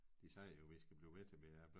De sagde jo vi skal blive ved til vi er